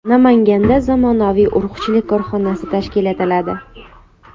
Namanganda zamonaviy urug‘chilik korxonasi tashkil etiladi.